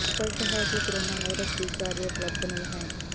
ਇਹ ਸਪੱਸ਼ਟ ਹੈ ਕਿ ਕੋਰੋਨਾ ਵਾਇਰਸ ਟੀਕਾ ਅਜੇ ਉਪਲਬਧ ਨਹੀਂ ਹੈ